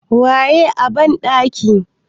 waye a bandaki?